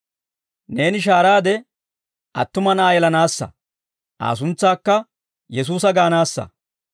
Neeni shahaaraade, attuma na'aa yelanaassa; Aa suntsaakka Yesuusa gaanaassa.